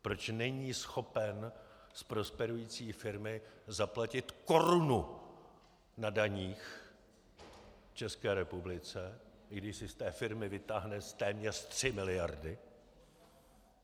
Proč není schopen z prosperující firmy zaplatit korunu na daních České republice, i když si z té firmy vytáhne téměř 3 miliardy.